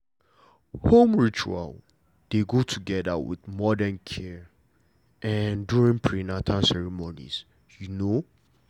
home ritual dey go together with modern care during prenatal ceremonies you know